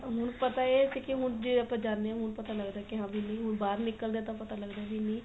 ਹੁਣ ਪਤਾ ਏ ਸੀ ਕੀ ਹੁਣ ਜੇ ਆਪਾਂ ਜਾਣੇ ਆ ਹੁਣ ਪਤਾ ਲੱਗਦਾ ਕੀ ਹਾਂ ਵੀ ਨਹੀਂ ਹੁਣ ਬਾਹਰ ਨਿਕਲਦੇ ਆ ਤਾਂ ਪਤਾ ਲੱਗਦਾ ਵੀ ਨੀ